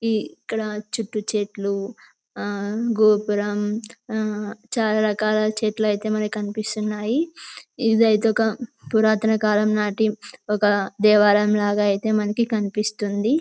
ఇక్కడ చుట్టూ చెట్లు గోపురం చాలా రకాల చెట్లు అయితే మరి కనిపిస్తున్నాయి ఇదైతే ఒక పురాతన కాలంనాటి ఒక దేవాలయం లాగా అయితే మనకు కనిపిస్తుంది